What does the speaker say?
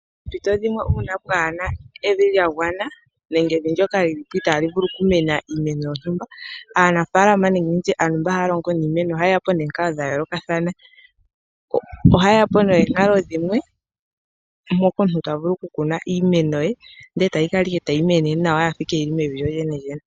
Poompito dhimwe uuna pwaana evi lya gwana nenge evi ndoka lili itaa li vulu okukunwa iimeno yontumba aanafalama nenge nditye aantu mboka haa longo niimeno ohaye ya po nomikalo dhimwe dhontumba dhopashinanena dhokukuna iimeno.